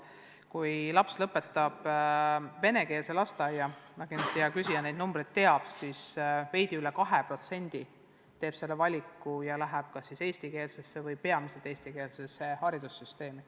Kui laps lõpetab venekeelse lasteaia – kindlasti hea küsija neid numbreid teab –, siis veidi üle 2% neist läheb kas eestikeelsesse või peamiselt eestikeelsesse kooli.